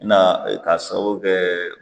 Na k'a sababu kɛ